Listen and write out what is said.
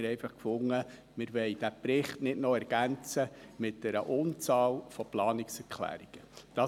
Wir haben einfach gefunden, wir wollen diesen Bericht nicht noch mit einer Unzahl von Planungserklärungen ergänzen.